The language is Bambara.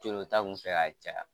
Coolota tun bɛ fɛ ka caya